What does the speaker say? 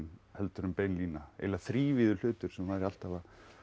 en bein lína eiginlega þrívíður hlutur sem væri alltaf